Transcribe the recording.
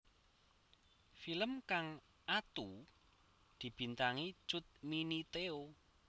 Film kang atu dibintangi Cut Mini Theo